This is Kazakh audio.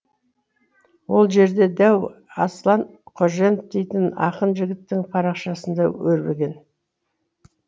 ол жерде дәу аслан қаженов дейтін ақын жігіттің парақшасында өрбіген